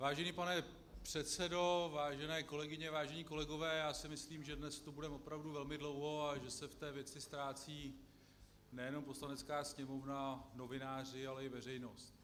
Vážený pane předsedo, vážené kolegyně, vážení kolegové, já si myslím, že dnes tu budeme opravdu velmi dlouho a že se v té věci ztrácí nejenom Poslanecká sněmovna, novináři, ale i veřejnost.